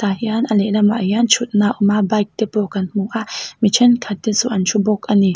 tah hian a lehlamah hian thutna a awm a bike te pawh kan hmu a mi thenkhat te chu an thu bawk ani.